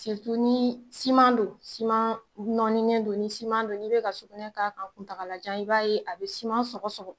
Siritu ni siman don siman nɔni nen don ni siman don n'i be ka sugunɛ k'a kan kuntaagalajan i b'a ye a be siman sɔgɔsɔgɔ